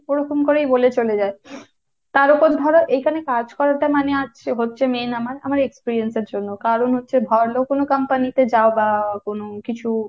ওরকম করেই বলে চলে যায়। তার ওপর ধরো এখানে কাজ করাটা মানে আজ হচ্ছে main আমার আমার experience এর জন্য। কারণ হচ্ছে ভালো করে company তে যাওয়া বা কোন কিছু,